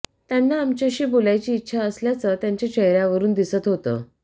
त्यांना आमच्याशी बोलयाची इच्छा असल्याचं त्यांच्या चेहऱ्यावरून दिसत होतं